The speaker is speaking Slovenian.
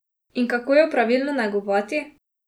In kako jo pravilno negovati?